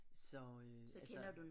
Så øh altså